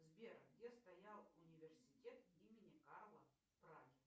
сбер где стоял университет имени карла в праге